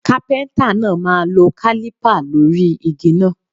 Kápẹ́ńtà náà máa lọ kálípà lórí igi náà.